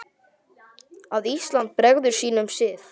að Ísland bregður sínum sið